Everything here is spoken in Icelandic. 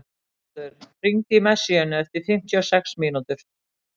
Hagbarður, hringdu í Messíönu eftir fimmtíu og sex mínútur.